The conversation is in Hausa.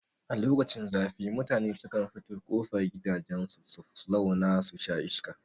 A lokacin zafi mutane sukan fito kofar gidajen su su zau na susha iska